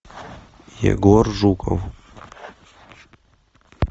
егор жуков